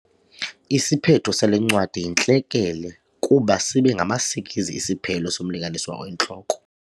Isiphetho sale ncwadi yintlekele kuba sibe ngamasikizi isiphelo somlinganiswa oyintloko.